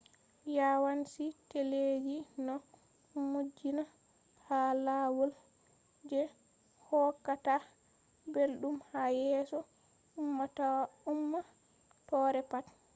yawanci teleji no modjinna ha lawal je hokkata ɓelɗum ha yeso ummatore pat